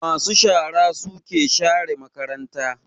Ma su shara suke share makaranta